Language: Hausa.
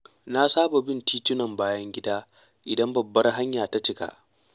Na saba bin titunan bayan gida idan babbar hanya ta cika.